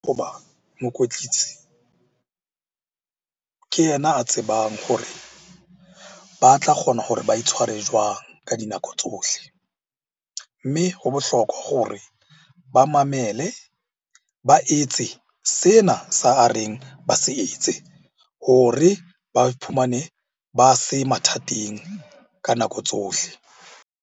Mokwetlisi ke ena a tsebang gore ba tla kgona hore ba itshware jwang ka dinako tsohle. Mme ho bohlokwa hore ba mamele, ba etse sena sa a reng ba se etse hore ba iphumane ba se mathateng ka nako tsohle.